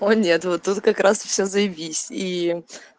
о нет вот тут как раз все заебись и